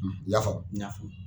I y'a famu n ya famu